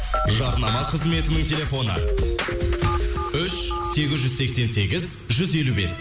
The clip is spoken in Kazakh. жарнама қызметінің телефоны үш сегіз жүз сексен сегіз жүз елу бес